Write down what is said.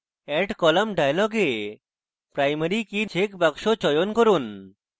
add column dialog box primary key checkbox চয়ন করুন